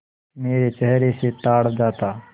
मेरे चेहरे से ताड़ जाता